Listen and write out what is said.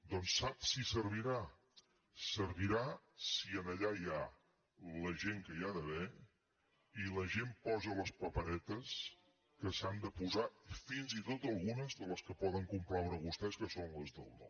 doncs saps si servirà servirà si allà hi ha la gent que hi ha d’haver i la gent posa les paperetes que s’han de posar fins i tot algunes de les que poden complaure a vostès que són les del no